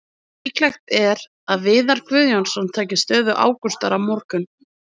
Líklegt er að Viðar Guðjónsson taki stöðu Ágústar á morgun.